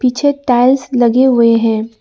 पीछे टाइल्स लगे हुए हैं।